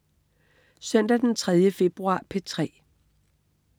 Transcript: Søndag den 3. februar - P3: